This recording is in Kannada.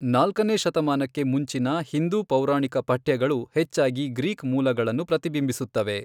ನಾಲ್ಕನೇ ಶತಮಾನಕ್ಕೆ ಮುಂಚಿನ ಹಿಂದೂ ಪೌರಾಣಿಕ ಪಠ್ಯಗಳು ಹೆಚ್ಚಾಗಿ ಗ್ರೀಕ್ ಮೂಲಗಳನ್ನು ಪ್ರತಿಬಿಂಬಿಸುತ್ತವೆ.